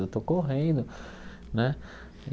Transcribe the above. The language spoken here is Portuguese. Eu estou correndo né.